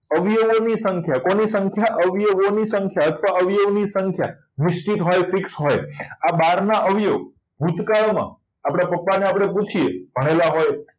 અવયવો ની સંખ્યા કોની સંખ્યા અવયવોની સંખ્યા તો અવયવોની સંખ્યા નિશ્ચિત હોય fix હોય આ બહારના અવયવો ભૂતકાળમાં આપણે પપ્પાને આપણે પૂછે ભણેલા હોય